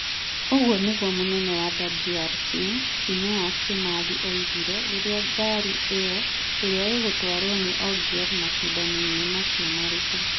Ũguo nĩguo mũnene wa WRC , Phineas Kimathi oigire rĩrĩa ngari ĩyo, ĩrĩa ĩgũtwarwo nĩ Ogier macindano-inĩ macio maritũ,